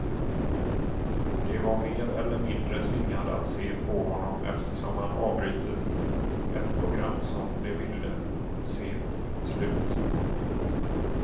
De var mer eller mindre tvingade att se på honom eftersom han avbrutit ett program som de ville se slut.